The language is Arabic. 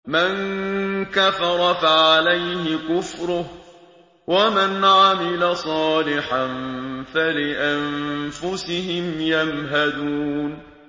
مَن كَفَرَ فَعَلَيْهِ كُفْرُهُ ۖ وَمَنْ عَمِلَ صَالِحًا فَلِأَنفُسِهِمْ يَمْهَدُونَ